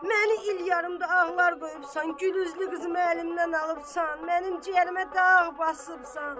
məni il yarımdır ağlar qoyubsan, gül üzlü qızımı əlimdən alıbsan, mənim ciyərimə dağ basıbsan.